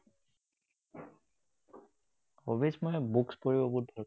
Hobbies মই books পঢ়িব বহুত ভাল পাওঁ।